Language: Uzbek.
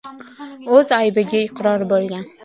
o‘z aybiga iqror bo‘lgan.